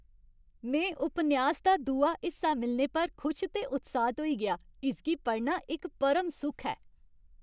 में उपन्यास दा दूआ हिस्सा मिलने पर खुश ते उत्साहत होई गेआ। इसगी पढ़ना इक परम सुख ऐ।